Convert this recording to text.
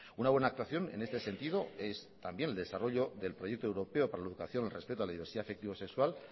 una buena actuación en este sentido es también el desarrollo del proyecto europeo para la educación el respeto a la diversidad afectivo sexual